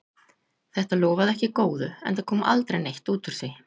Þetta lofaði ekki góðu, enda kom aldrei neitt út úr því.